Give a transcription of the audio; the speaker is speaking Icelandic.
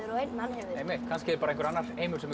einn alheimur kannski er bara einhver annar heimur sem er